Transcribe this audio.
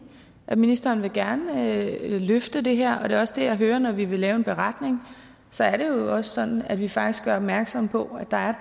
at ministeren gerne vil løfte det her det er også det jeg hører når vi vil lave en beretning så er det jo også sådan at vi faktisk gør opmærksom på at der er